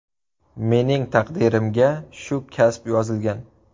Mening taqdirimga shu kasb yozilgan.